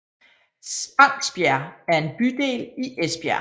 Spangsbjerg er en bydel i Esbjerg